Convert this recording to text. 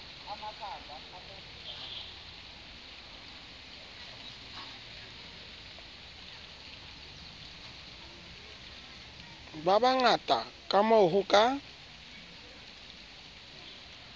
ba bangata kamoo ho ka